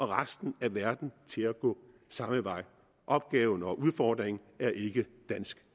resten af verden til at gå samme vej opgaven og udfordringen er ikke dansk